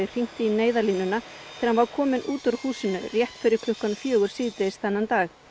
hringt í Neyðarlínuna þegar hann var kominn út úr húsinu rétt fyrir klukkan fjögur síðdegis þennan dag